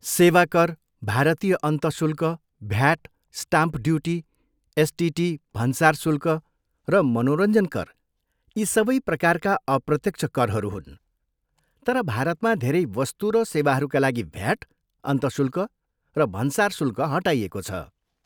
सेवा कर, भारतीय अन्तःशुल्क, भ्याट, स्टाम्प ड्युटी, एसटिटी, भन्सार शुल्क र मनोरञ्जन कर, यी सबै प्रकारका अप्रत्यक्ष करहरू हुन्, तर भारतमा धेरै वस्तु र सेवाहरूका लागि भ्याट, अन्तःशुल्क र भन्सार शुल्क हटाइएको छ।